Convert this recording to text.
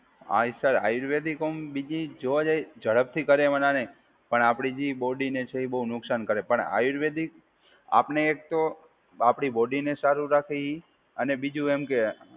હા એ સર, આયુર્વેદિક હોમ બીજી જોવા જાય ઝડપથી કરે એમાં નાં નહીં. પણ આપડી જે બોડીને છે એ બહુ નુકસાન કરે. પણ આયુર્વેદિક આપને એક તો આપડી બોડીને સારું રાખે એ અને બીજું એમ કે